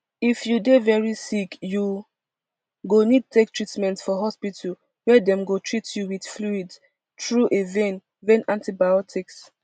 if you dey veri sick you go need take treatment for hospital wia dem go teat you wit fluids through a vein vein antibiotics